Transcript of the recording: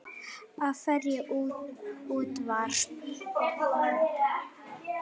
Af hverju útvarp?